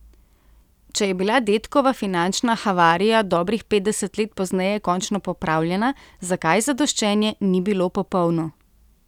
Če je bila dedkova finančna havarija dobrih petdeset let pozneje končno popravljena, zakaj zadoščenje ni bilo popolno?